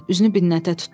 Üzünü Binətə tutdu.